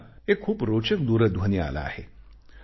मला एक खूप रोचक दूरध्वनी आला आहे